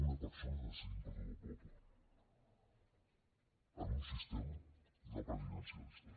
una persona decidint per a tot el poble en un sistema no presidencialista